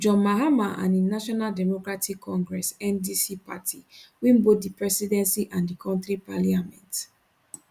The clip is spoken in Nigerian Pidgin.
john mahama and im national democratic congress ndc party win both di presidency and di kontri parliament